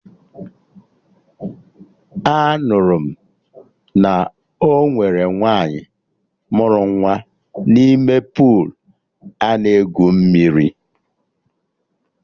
Anụrụ m na ọ nwere nwaanyị mụrụ nwa n'ime puulu ana egwu mmiri